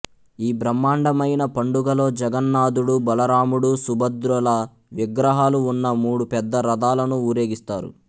ఈ బ్రహ్మాండమైన పండుగలో జగన్నాథుడు బలరాముడు సుభద్రల విగ్రహాలు ఉన్న మూడు పెద్ద రథాలను ఊరేగిస్తారు